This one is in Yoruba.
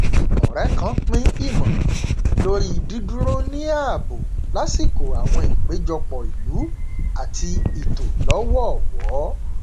ọrẹ kan pín ìmọràn lórí dídúró ní ààbò lásìkò àwọn ìpéjọpọ ìlú àti ìtò lọwọọwọ